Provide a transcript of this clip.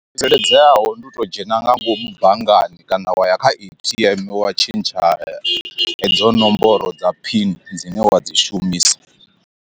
Tsireledzeaho ndi u to dzhena nga ngomu banngani kana wa ya kha A_T_M wa tshintsha hedzo nomboro dza phini dzine wa dzi shumisa.